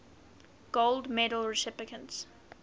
gold medal recipients